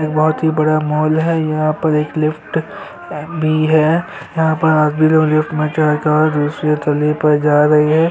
यहाँ एक बहोत ही बड़ा मॉल है यहाँ पर एक लिफ्ट भी है यहाँ पर और भी लोग लिफ्ट पर चढ़ कर दूसरे तली पर जा रही हैं।